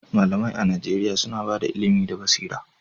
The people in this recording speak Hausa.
Malamai a Najeriya suna ba da ilimi da basira